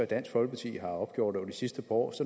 dansk folkeparti opgjort over de sidste par år